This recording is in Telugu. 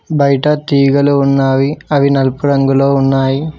బయట తీగలు ఉన్నావి అవి నలుపు రంగులో ఉన్నాయి.